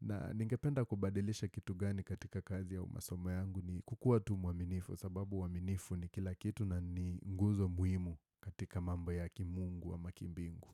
na ningependa kubadilisha kitu gani katika kazi au masomo yangu ni kukuwa tu mwaminifu Kwa sababu uaminifu ni kila kitu na ni nguzo muhimu katika mambo ya kimungu amq kimbingu.